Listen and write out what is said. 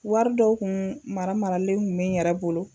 Wari dɔw kun mara maralen kun bɛ n yɛrɛ bolo.